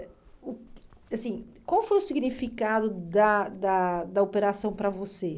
ãh uh assim Qual foi o significado da da da operação para você?